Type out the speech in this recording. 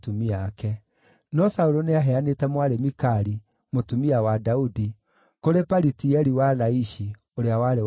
No Saũlũ nĩaheanĩte mwarĩ Mikali, mũtumia wa Daudi, kũrĩ Palitieli wa Laishi, ũrĩa warĩ wa kuuma Galimu.